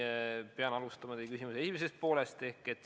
Ma pean alustama teie küsimuse esimesest poolest.